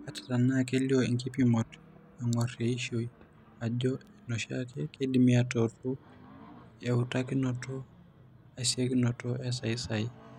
Ata tenaa kelio inkipimot eng'or eishio ajo eneoshiake, keidimi aatuutu eutakinoto esiokinoto esayisayi.